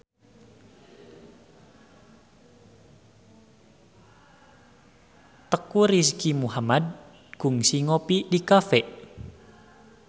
Teuku Rizky Muhammad kungsi ngopi di cafe